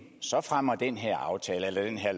fremmer den her aftale